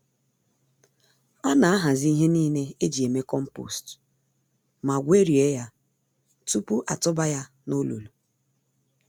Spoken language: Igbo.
Ana ahazi ihe niile eji eme compost ma gwerie ya tupu atụba ya n'olulu.